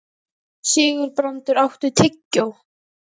Sigurbrandur, áttu tyggjó?